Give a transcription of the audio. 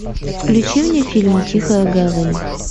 включи мне фильм тихая гавань